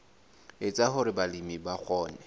etsa hore balemi ba kgone